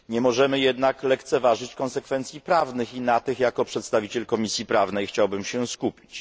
Nie możemy jednak lekceważyć konsekwencji prawnych i na tych, jako przedstawiciel Komisji Prawnej, chciałbym się skupić.